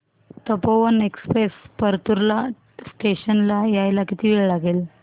Tapovan express Partur station ला यायला किती वेळ लागेल